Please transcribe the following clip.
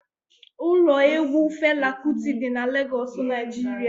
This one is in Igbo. Ụlọ egwu Fela Kuti dị n'Legoosu, Naijiria